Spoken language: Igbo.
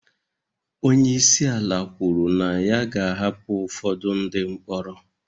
Onye isi ala kwuru na ya ga-ahapụ ụfọdụ ndị mkpọrọ